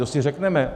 To si řekneme.